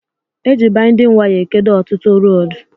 Eji baindịn waya ekedo ọtụtụ rọdu